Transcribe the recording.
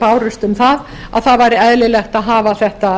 bárust um að það væri eðlilegt að hafa þetta